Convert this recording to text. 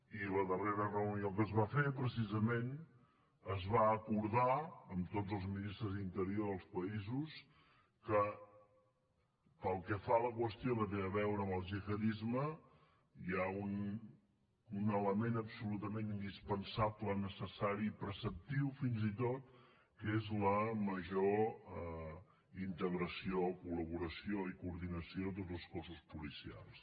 i a la darrera reunió que es va fer precisament es va acordar amb tots els ministres d’interior dels països que pel que fa a la qüestió que té a veure amb el gihadisme hi ha un element absolutament indispensable necessari i preceptiu fins i tot que és la major integració col·laboració i coordinació de tots els cossos policials